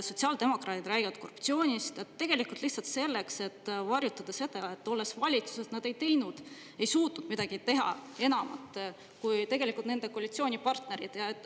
sotsiaaldemokraadid räägivad korruptsioonist – tegelikult lihtsalt selleks, et varjutada seda, et, olles valitsuses, nad ei teinud, ei suutnud midagi teha enamat, kui tegelikult nende koalitsioonipartnerid?